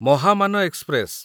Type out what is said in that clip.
Mahamana express